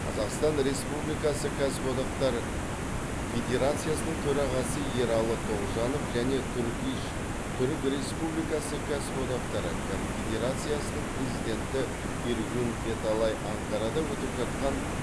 қазақстан республикасы кәсіподақтар федерациясының төрағасы ералы тоғжанов және турк иш түрік республикасы кәсіподақтары конфедерациясының президенті эргюн эталай анкарада өтіп жатқан